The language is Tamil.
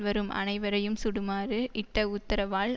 வரும் அனைவரையும் சுடுமாறு இட்ட உத்தரவால்